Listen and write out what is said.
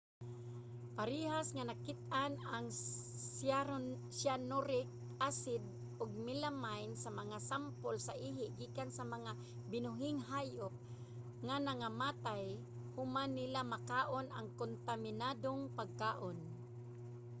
parehas nga nakit-an ang cyanuric acid ug melamine sa mga sampol sa ihi gikan sa mga binuhing hayop nga nangamatay human nila makaon ang kontaminadong pagkaon